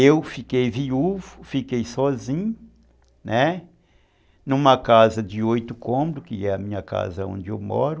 Eu fiquei viúvo, fiquei sozinho, numa casa de oito cômodos, que é a minha casa onde eu moro,